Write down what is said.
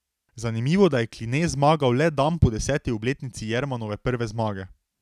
Zanimivo, da je Kline zmagal le dan po deseti obletnici Jermanove prve zmage.